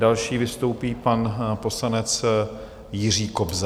Další vystoupí pan poslanec Jiří Kobza.